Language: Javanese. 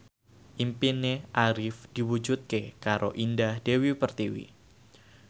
impine Arif diwujudke karo Indah Dewi Pertiwi